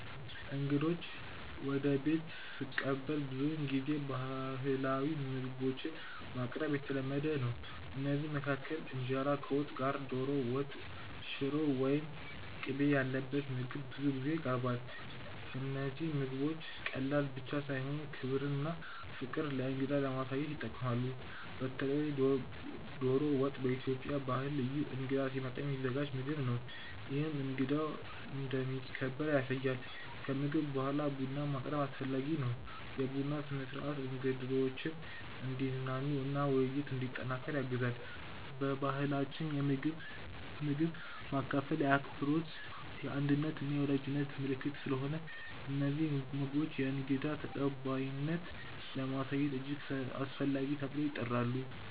እንግዶችን ወደ ቤት ስቀበል ብዙውን ጊዜ ባህላዊ ምግቦችን ማቅረብ የተለመደ ነው። ከእነዚህ መካከል እንጀራ ከወጥ ጋር፣ ዶሮ ወጥ፣ ሽሮ ወይም ቅቤ ያለበት ምግብ ብዙ ጊዜ ይቀርባል። እነዚህ ምግቦች ቀላል ብቻ ሳይሆኑ ክብርና ፍቅር ለእንግዳ ለማሳየት ይጠቅማሉ። በተለይ ዶሮ ወጥ በኢትዮጵያ ባህል ልዩ እንግዳ ሲመጣ የሚዘጋጅ ምግብ ነው፤ ይህም እንግዳው እንደሚከበር ያሳያል። ከምግብ በኋላ ቡና ማቅረብም አስፈላጊ ነው። የቡና ስነ-ሥርዓት እንግዶችን እንዲዝናኑ እና ውይይት እንዲጠናከር ያግዛል። በባህላችን ምግብ ማካፈል የአክብሮት፣ የአንድነት እና የወዳጅነት ምልክት ስለሆነ እነዚህ ምግቦች የእንግዳ ተቀባይነትን ለማሳየት እጅግ አስፈላጊ ተብለው ይቆጠራሉ